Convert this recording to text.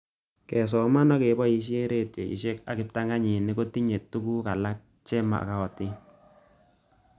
Kesoman ak kepoishe redioishek ak kiptanganyit kotinye tuguk alak che mag'atin